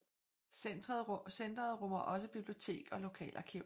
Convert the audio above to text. Centret rummer også bibliotek og lokalarkiv